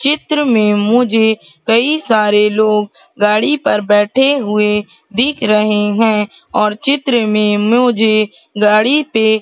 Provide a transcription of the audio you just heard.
चित्र में मुझे कई सारे लोग गाड़ी पर बैठे हुए दिख रहें हैं और चित्र में मुझे गाड़ी पे--